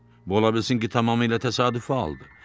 Bu ola bilsin ki, tamamilə təsadüfi haldır.